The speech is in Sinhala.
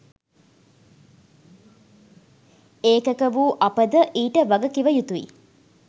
ඒකක වූ අපද ඊට වගකිවයුතුයි